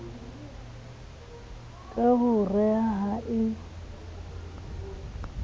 ka ho re ha e